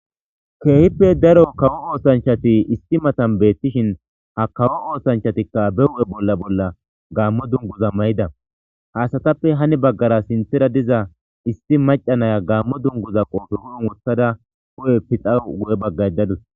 Keehippe daro kawo oosanchati isti matan beettishin ha kawo oosanchatikka be hu'e bolla bolla gaammo dunguza may7ida haasatappe hani baggara sinthira diza isti macanaya gaammo dunguza qoofehuyn wothada ko'e pixawu gu'e bagga.